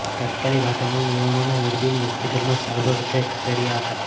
તાત્કાલીક આ તમામ યુવાનોને મોરબીની હોસ્પીટલમાં સારવાર અર્થે ખસેડાયા હતા